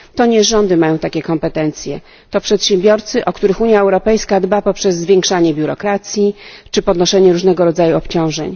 To nie rządy mają takie kompetencje, lecz przedsiębiorcy, o których Unia Europejska dba poprzez zwiększanie biurokracji czy podnoszenie różnego rodzaju obciążeń.